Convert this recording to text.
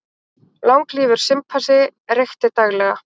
Langlífur simpansi reykti daglega